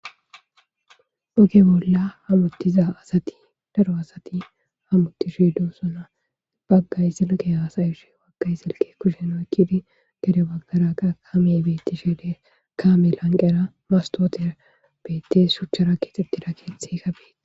Oge bolla hamuttiza asati daro hamuttishe daro asati dosona.baggay silkke haasa7ishe baggay kushen oyqqidi dere baggara beettishe dees.kaame lanqera mastotera beettees shuchchara keexettida keethayka beettees.